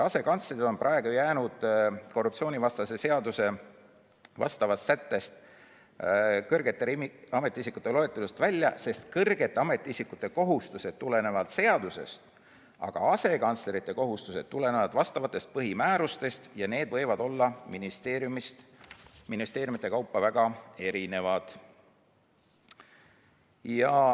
Asekantslerid on praegu jäänud korruptsioonivastase seaduse vastavast sättest, kõrgete ametiisikute loetelust välja, sest kõrgete ametiisikute kohustused tulenevad seadusest, aga asekantslerite kohustused tulenevad vastavatest põhimäärustest ja need võivad olla ministeeriumides väga erinevad.